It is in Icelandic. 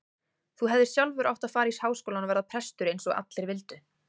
Þú hefðir sjálfur átt að fara í Háskólann og verða prestur eins og allir vildu.